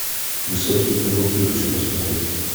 высокие каблуки хочу посмотреть